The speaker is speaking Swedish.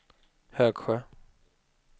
Högsjö